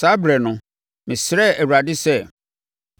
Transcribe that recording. Saa ɛberɛ no, mesrɛɛ Awurade sɛ,